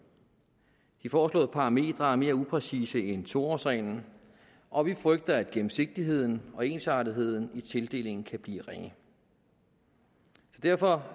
de foreslåede parametre er mere upræcise end to årsreglen og vi frygter at gennemsigtigheden og ensartetheden i tildelingen kan blive ringe derfor